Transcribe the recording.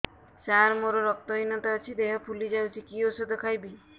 ସାର ମୋର ରକ୍ତ ହିନତା ଅଛି ଦେହ ଫୁଲି ଯାଉଛି କି ଓଷଦ ଖାଇବି